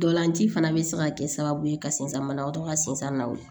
Ntolan ci fana bɛ se ka kɛ sababu ye ka sensan banabatɔ ka sensan na